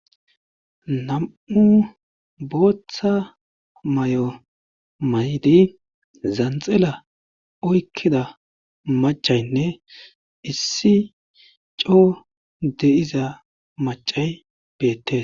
nam7u booththa may7o maydi zanxela oykkida macaynne issi coo de7iza macay beette